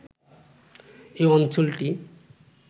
এই অঞ্চলটি